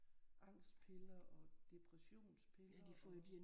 Angstpiller og depressionspiller og